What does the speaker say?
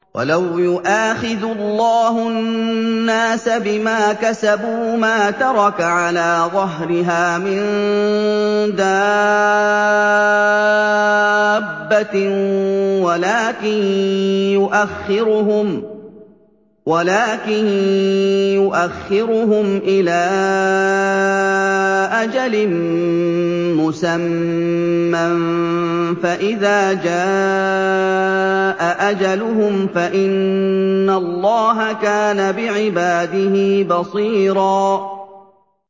وَلَوْ يُؤَاخِذُ اللَّهُ النَّاسَ بِمَا كَسَبُوا مَا تَرَكَ عَلَىٰ ظَهْرِهَا مِن دَابَّةٍ وَلَٰكِن يُؤَخِّرُهُمْ إِلَىٰ أَجَلٍ مُّسَمًّى ۖ فَإِذَا جَاءَ أَجَلُهُمْ فَإِنَّ اللَّهَ كَانَ بِعِبَادِهِ بَصِيرًا